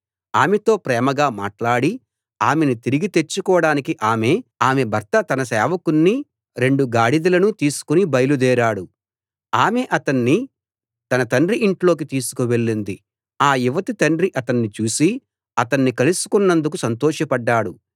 ఆమెతో ప్రేమగా మాట్లాడి ఆమెని తిరిగి తెచ్చుకోడానికి ఆమె భర్త తన సేవకుణ్ణి రెండు గాడిదలనూ తీసుకుని బయల్దేరాడు ఆమె అతణ్ణి తన తండ్రి ఇంట్లోకి తీసుకు వెళ్ళింది ఆ యువతి తండ్రి అతణ్ణి చూసి అతణ్ణి కలుసుకున్నందుకు సంతోషపడ్డాడు